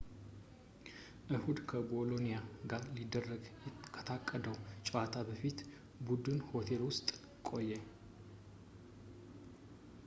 እሁድ ከቦሎኒያ ጋር ሊደረግ ከታቀደው ጨዋታ በፊት በቡድን ሆቴል ውስጥ ቆየ